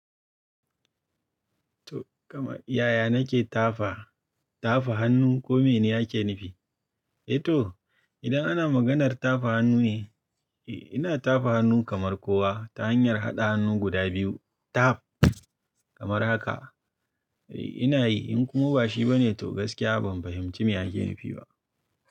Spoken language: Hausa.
To kamar yaya nake tafa, tafa hannun kome ni ake nifi? Eh to idan ana maganar tafa hannu ne, eh ina tafa hannu kamar kowa ta hanyar haɗa hannu guda biyu taf kamar haka. Eh ina yi in kuma ba shi ba ne to gaskiya ban fahimci me ake nifi ba.